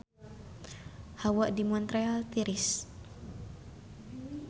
Hawa di Montreal tiris